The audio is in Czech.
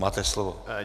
Máte slovo.